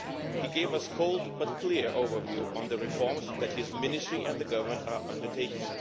He gave us a cold but clear overview on the reforms that his Ministry and the Government are undertaking.